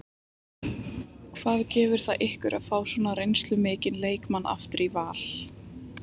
Hvað gefur það ykkur að fá svona reynslumikla leikmenn aftur í Val?